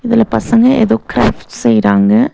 இதுல பசங்க ஏதோ கிராஃப்ட்ஸ் செய்றாங்க.